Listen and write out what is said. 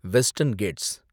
western Gates